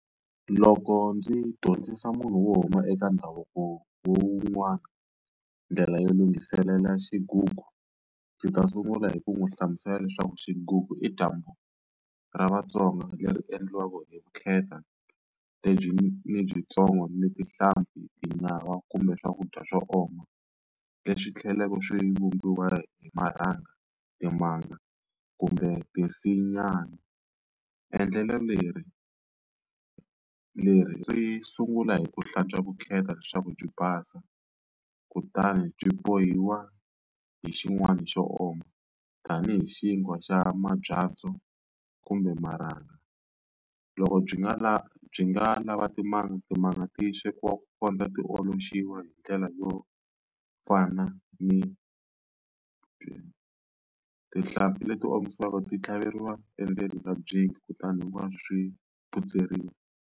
Loko ndzi dyondzisa munhu wo huma eka ndhavuko lowun'wana ndlela yo lunghiselela xigugu, ndzi ta sungula hi ku n'wi hlamusela leswaku xigugu i dyambu ra Vatsonga leri endliwaka hi vukheta lebyi ni byintsongo, ni tinhlampfi, tinyawa, kumbe swakudya swo oma, leswi tlhelaka swi vumbiwa hi marhanga, timanga, kumbe tinsinyani. Endlelo leri leri sungula hi ku hlantswa vukheta leswaku byi basa kutani byi bohiwa hi xin'wani xo oma, tanihi xinkwa xa mabyanyi ndzo kumbe marhanga. Loko byi nga byi nga lava timanga, timanga ti swekiwa ku kondza ti hi ndlela yo fana ni . Tihlampfi leti omisiwaka ti tlhaveriwa endzeni ka kutani hinkwaswo swi phutseriwa.